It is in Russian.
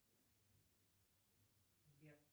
сбер